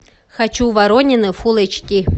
хочу воронины фулл эйч ди